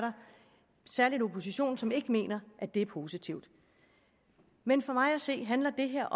oppositionen som ikke mener at det er positivt men for mig at se handler det her